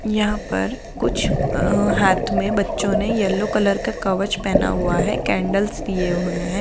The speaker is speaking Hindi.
यहाँ पर कुछ अ हाथ में बच्चो ने येलो कलर का कवच पहना हुआ है कैंडल्स लिए हुए हैं।